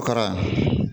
Kara